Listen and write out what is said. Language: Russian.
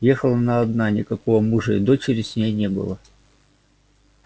ехала она одна никакого мужа и дочери с ней не было